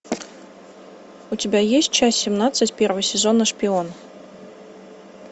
у тебя есть часть семнадцать первого сезона шпион